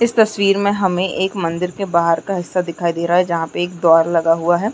इस तस्वीर में हमें एक मदिंर के बाहर का हिस्सा दिखाई दे रहा है जहाँ पे एक द्वार लगा हुआ है।